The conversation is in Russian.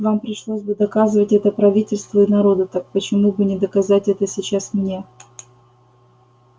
вам пришлось бы доказывать это правительству и народу так почему бы не доказать это сейчас мне